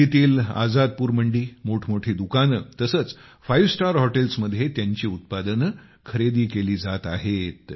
दिल्लीतील आजादपुर मंडी मोठमोठी दुकाने तसेच फाइव स्टार हॉटेल्समध्ये त्यांची उत्पादने खरेदी केली जात आहेत